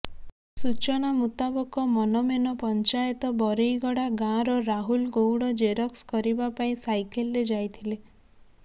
ସୂଚନା ମୁତାବକ ମନମେନ ପଞ୍ଚାୟତ ବରେଇଗଡ଼ା ଗାଁର ରାହୁଲ ଗୌଡ଼ ଜେରକ୍ସ କରିବା ପାଇଁ ସାଇକେଲ୍ରେ ଯାଇଥିଲେ